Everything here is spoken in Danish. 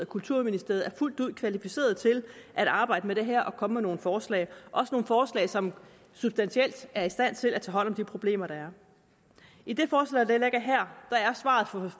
kulturministeriet er fuldt ud kvalificerede til at arbejde med det her og komme med nogle forslag også nogle forslag som substantielt er i stand til at tage hånd om de problemer der er i det forslag der ligger her er svaret for